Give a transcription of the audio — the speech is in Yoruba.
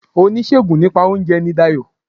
Oníṣègùn nípa óunje ni Dayò